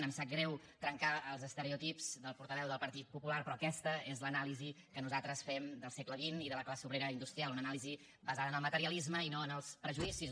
em sap greu trencar els estereotips del portaveu del partit popular però aquesta és l’anàlisi que nosaltres fem del segle xx i de la classe obrera industrial una anàlisi basada en el materialisme i no en els prejudicis